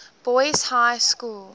boys high school